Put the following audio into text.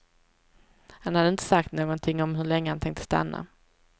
Han hade inte sagt någonting om hur länge han tänkte stanna.